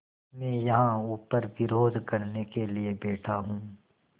मैं यहाँ ऊपर विरोध करने के लिए बैठा हूँ